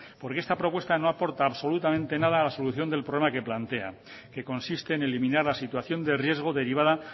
porque esta propuesta no aporta absolutamente nada a la solución del problema que plantean que consiste en eliminar la situación de riesgo derivada